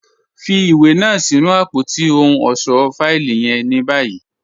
Fì iwé náà sí̀nù apótí òhùn ọṣọ́ fáìlì yẹ̀n ní báyì.